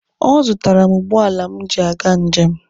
Ọ zụtaara m ụgbọala m ji aga njem.